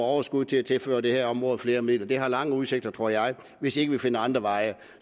overskud til at tilføre det her område flere midler det har lange udsigter tror jeg hvis ikke vi finder andre veje